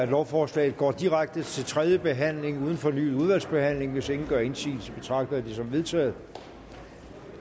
lovforslaget går direkte til tredje behandling uden fornyet udvalgsbehandling hvis ingen gør indsigelse betragter jeg det som vedtaget